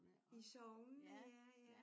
I sognene ja ja